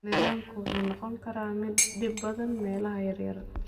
Nidaamku wuxuu noqon karaa mid dhib badan meelaha yaryar.